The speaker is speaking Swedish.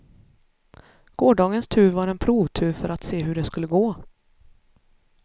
Gårdagens tur var en provtur för att se hur det skulle gå.